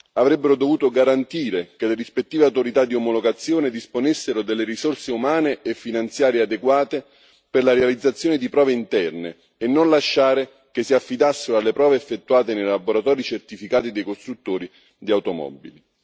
Avrebbero dovuto garantire che le rispettive autorità di omologazione disponessero delle risorse umane e finanziarie adeguate per la realizzazione di prove interne, e non lasciare che si affidassero alle prove effettuate nei laboratori certificati dei costruttori di automobili.